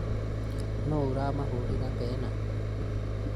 Nũ ũramahũrĩra pena?